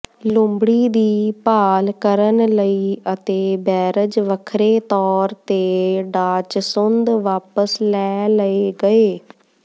ਲੂੰਬੜੀ ਦੀ ਭਾਲ ਕਰਨ ਲਈ ਅਤੇ ਬੈਰਜ ਵੱਖਰੇ ਤੌਰ ਤੇ ਡਾਚਸੁੰਦ ਵਾਪਸ ਲੈ ਲਏ ਗਏ